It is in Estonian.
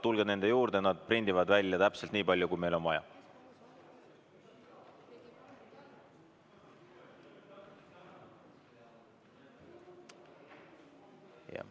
Tulge nende juurde, nad prindivad välja täpselt nii palju, kui meil on vaja.